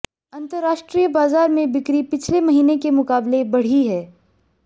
अंतरराष्ट्रीय बाजार में बिक्री पिछले महीने के मुकाबले बढ़ी है